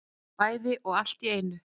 Bæði og allt í einu